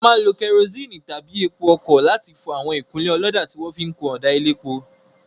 A máa ń lo kerosene tàbí epo ọkọ̀ láti fọ àwọn ìkunlé ọlọ́dà tí wọn fi kun ọ̀dà elépo.